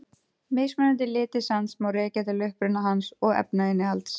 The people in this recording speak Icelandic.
Mismunandi litir sands má rekja til uppruna hans og efnainnihalds.